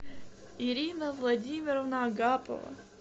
ирина владимировна агапова